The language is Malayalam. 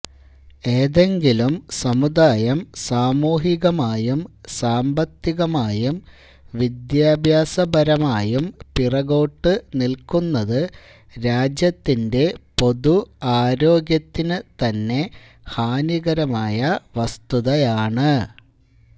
ഏതെങ്കിലും സമുദായം സാമൂഹികമായും സാമ്പത്തികമായും വിദ്യാഭ്യാസപരമായും പിറകോട്ട് നില്ക്കുന്നത് രാജ്യത്തിന്റെ പൊതു ആരോഗ്യത്തിന് തന്നെ ഹാനികരമായ വസ്തുതയാണ്